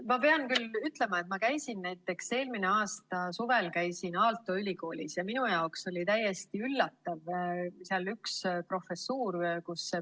Ma pean küll ütlema, et kui ma käisin eelmise aasta suvel Aalto ülikoolis, siis minu jaoks oli täiesti üllatav üks sealne professuur.